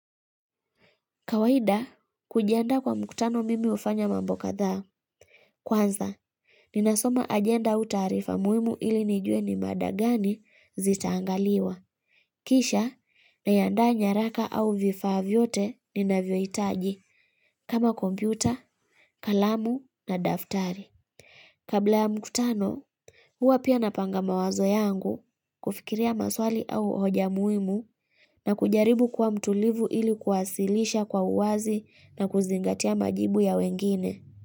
Kawaida, kujiandaa kwa mkutano mimi hufanya mambo kadhaa Kwanza, ninasoma ajenda au taarifa muhimu ili nijue ni mada gani zitaangaliwa. Kisha, na andaa nyaraka au vifaa vyote ninavyohitaji kama kompyuta, kalamu na daftari. Kabla ya mkutano, huwa pia napanga mawazo yangu kufikiria maswali au hoja muhimu na kujaribu kuwa mtulivu ili kwasilisha kwa uwazi na kuzingatia majibu ya wengine.